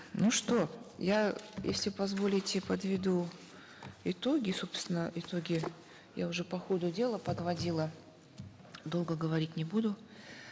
ну что я если позволите подведу итоги собственно итоги я уже по ходу дела подводила долго говорить не буду